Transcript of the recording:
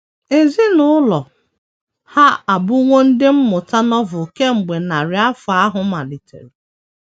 Ezinụlọ ha abụwo Ndị Mmụta Novel kemgbe narị afọ ahụ malitere.